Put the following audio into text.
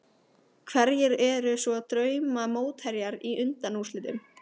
Hverjir eru svo drauma mótherjar í undanúrslitum?